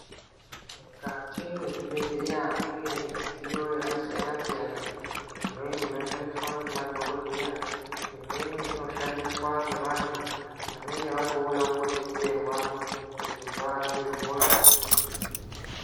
Mukati mezvibhedhlera mune midziyo yakasiyana siyana imweni inoshandiswa nemadhokodheya imweni inoshandiswawo nevantu vanenge vatouyawo kuzodetserwa kuti varapwe hosha.